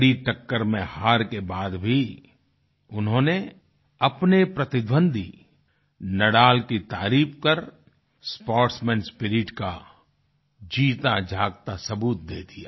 कड़ी टक्कर में हार के बाद भी उन्होंने अपने प्रतिद्वंदी नादल की तारीफ कर स्पोर्ट्समैन स्पिरिट का जीता जागता सबूत दे दिया